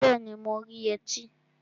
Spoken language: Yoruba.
Bẹẹni, mo rí yẹtí